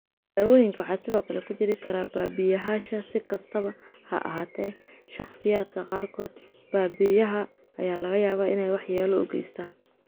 Daawooyinka waxaa sidoo kale ku jiri kara babiyahasha; si kastaba ha ahaatee, shakhsiyaadka qaarkood, babiyaha ayaa laga yaabaa inay waxyeello u geystaan.